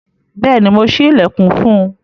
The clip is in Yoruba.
Bẹẹni, Mo ṣi ilẹkun fún un